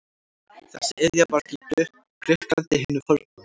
Þessi iðja varð til í Grikklandi hinu forna.